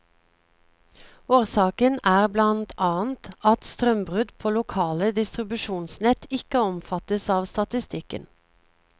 Årsaken er blant annet at strømbrudd på lokale distribusjonsnett ikke omfattes av statistikken.